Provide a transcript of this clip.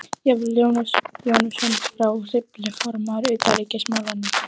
Jafnvel Jónas Jónsson frá Hriflu, formaður utanríkismálanefndar